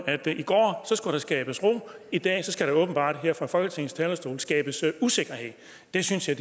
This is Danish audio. at i går skulle der skabes ro og i dag skal der åbenbart her fra folketingets talerstol skabes usikkerhed det synes jeg